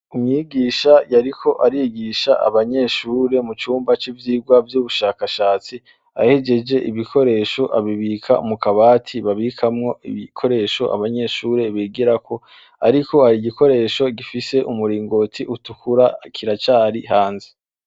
Umwigisha yariko arigisha abanyeshure mu cumba c' ivyirwa vy' ubushakashatsi. Ahejeje ibikoresho abibika mu kabati babikamwo ibikoresho abanyeshure bigirako, ariko hari ibikoresho gifise umuringoti utukura kiracari hanze.